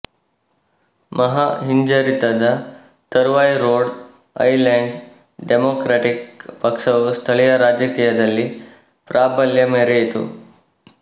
ಮಹಾ ಹಿಂಜರಿತದ ತರುವಾಯರೋಡ್ ಐಲೆಂಡ್ ಡೆಮೋಕ್ರಾಟಿಕ್ ಪಕ್ಷವು ಸ್ಥಳೀಯ ರಾಜಕೀಯದಲ್ಲಿ ಪ್ರಾಬಲ್ಯ ಮೆರೆಯಿತು